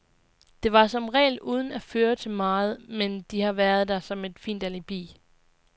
Det var som regel uden at føre til meget, men de har været der som et fint alibi.